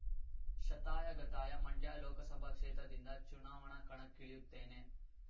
ಶತಾಯಗತಾಯ ಮಂಡ್ಯ ಲೋಕಸಭಾ ಕ್ಷೇತ್ರದಿಂದ ಚುನಾವಣಾ ಕಣಕ್ಕಿಳಿಯುತ್ತೇನೆ